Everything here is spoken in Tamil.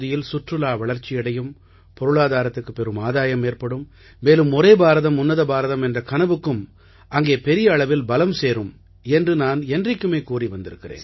சுற்றுலா வளர்ச்சியடையும் பொருளாதாரத்துக்குப் பெரும் ஆதாயம் ஏற்படும் மேலும் ஒரே பாரதம் உன்னத பாரதம் என்ற கனவுக்கும் அங்கே பெரிய அளவில் பலம் சேரும் என்று நான் என்றைக்கும் கூறி வந்திருக்கிறேன்